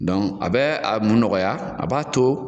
a bɛ a mun nɔgɔya a b'a to.